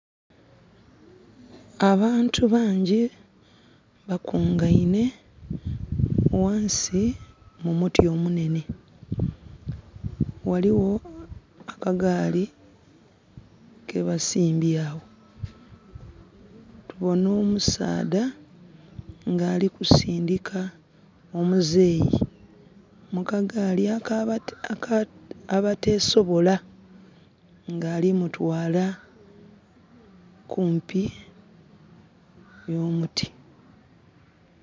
Abantu bangi ba kungeine wansi mu muti omunene. Ghaligho akagaali ke basimbye agho. Tubona omusaadha nga alikusindika omuzeyi mu kagaali akabatesobola nga alimutwala kumpi no muti.